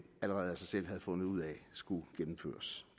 allerede af sig selv havde fundet ud af skulle gennemføres